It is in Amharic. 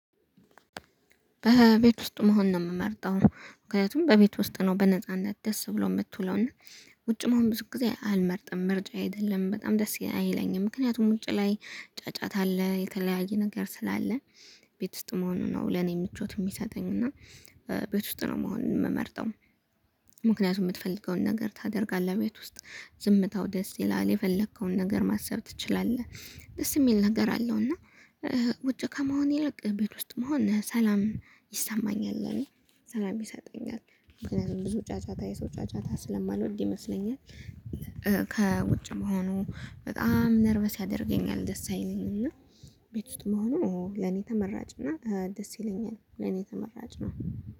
በቤት ውስጥ መሆን ነው የምመርጠው ምክንያቱም በቤት ውስጥ ነው በነጻነት ደስ ብሎ የምትውለው እና ውጭም መሆን ብዙ ጊዜ አልመርጥም ምርጫዬ አይደለም በጣም ደስ አይለኝም ምክንያቱም ውጪ ላይ ጫጫታ አለ የተለያየ ነገር ስላለ ቤት ውስጥ መሆኑ ነው ለኔ ምቾት የሚሰጠኝ እና ቤት ውስጥ ነው መሆን ምመርጠው። ምክንያቱም ምትፈልገውን ነገር ታደርጋለህ ቤት ውስጥ ዝምታው ደስ ይላል የፈለከውን ነገር ማሰብ ትችላለህ ደስ የሚል ነገር አለው። እና ውጭ ከመሆን ይልቅ ቤት ውስጥ መሆን ሰላም ይሰማኛል ለኔ ሰላም ይሰጠኛል። ምክንያቱም ብዙ ጫጫታ የሰው ጫጫታ ስለማልወድ ይመስለኛል። ከውጭ መሆኑ በጣም ነርቨስ ያደርገኛል ደስ አይለኝም። እና ቤት ውስጥ መሆኑ ለኔ ተመራጭ እና ደስ ይለኛል ለኔ ተመራጭ ነው